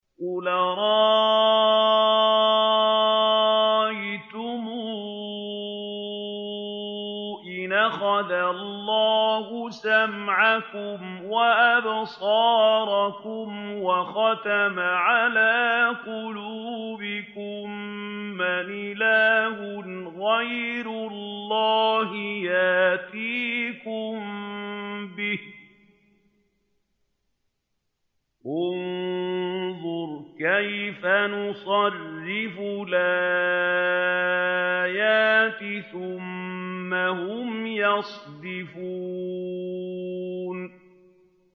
قُلْ أَرَأَيْتُمْ إِنْ أَخَذَ اللَّهُ سَمْعَكُمْ وَأَبْصَارَكُمْ وَخَتَمَ عَلَىٰ قُلُوبِكُم مَّنْ إِلَٰهٌ غَيْرُ اللَّهِ يَأْتِيكُم بِهِ ۗ انظُرْ كَيْفَ نُصَرِّفُ الْآيَاتِ ثُمَّ هُمْ يَصْدِفُونَ